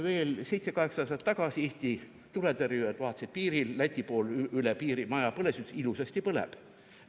Veel seitse-kaheksa aastat tagasi, kui Eesti tuletõrjujad vaatasid piiril, et Läti pool üle piiri maja põles, siis nad ütlesid: "Ilusasti põleb.